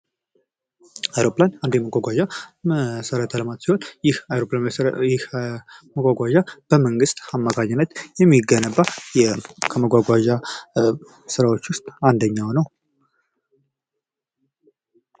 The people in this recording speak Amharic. አሮፕላን አንድ የመጓጓዣ መሠረተ ልማት ሲሆን ይህ መጓጓዣ በመንግስት አማካኝነት የሚገነባ ከመጓጓዣ ስራዎች ውስጥ አንደኛው ነው።